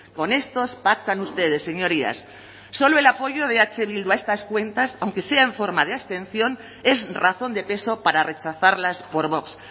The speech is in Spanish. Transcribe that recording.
con estos pactan ustedes señorías solo el apoyo de eh bildu a estas cuentas aunque sea en forma de abstención es razón de peso para rechazarlas por vox